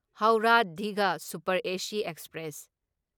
Howrah Digha super AC express